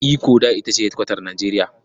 Ikko da ita ce hedikwatar Nijeriya.